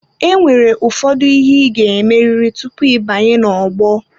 Enwere ụfọdụ ihe ị ga-emerịrị tupu ịbanye n'ogbo.